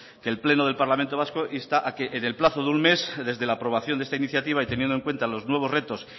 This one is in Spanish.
con que el pleno del parlamento vasco insta a que en el plazo de un mes desde la aprobación de esta iniciativa y teniendo en cuenta los nuevos retos